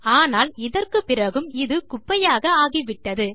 ஆனால் இதற்குப்பிறகும் இது குப்பையாக ஆகிவிட்டது